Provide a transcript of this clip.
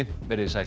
verið þið sæl